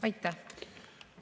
Aitäh!